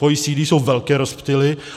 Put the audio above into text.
V OECD jsou velké rozptyly.